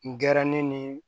N gɛrɛ ne ni